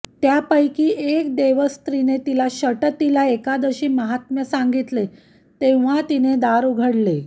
त्यापैकी एक देवस्त्रीने तिला षटतिला एकादशी माहात्म्य सांगितले तेव्हा तिने दार उघडले